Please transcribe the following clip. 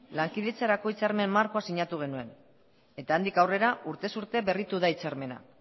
lankidetzarako hitzarmen markoa sinatu genuen eta handik aurrera urtez urte berritu da hitzarmena